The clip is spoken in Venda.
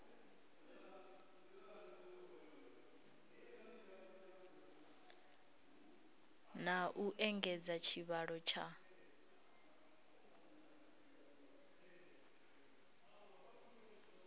na u engedza tshivhalo tsha